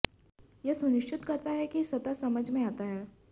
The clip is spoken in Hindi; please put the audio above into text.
यह सुनिश्चित करता है कि सतह समझ में आता है